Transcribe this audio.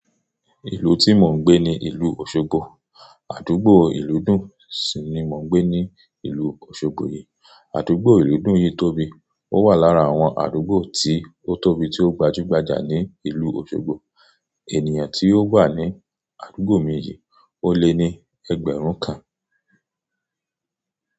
Ìlú tí mò ń gbé ni ìlú Osogbo. Àdúgbò ìlúdùn sì ni mò ń gbé ní ìlú Osogbo yìí. Àdúgbò ìlúdùn yìí tóbi, ó wà lára àwọn àdúgbò tí ó tóbi tí ó gbajúgbajà ní ìlú Osogbo. Ènìyàn tí ó wà ní àdúgbò méjì, ó lé ní ẹgbẹ̀rún kan.